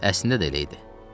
Əslində də elə idi.